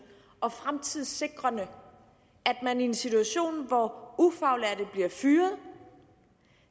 og fremtidssikrende at man i en situation hvor ufaglærte bliver fyret